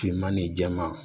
Finman ni jɛman